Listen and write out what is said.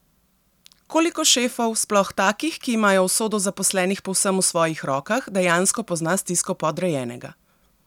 Koliko šefov, sploh takih, ki imajo usodo zaposlenih povsem v svojih rokah, dejansko pozna stisko podrejenega?